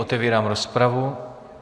Otevírám rozpravu.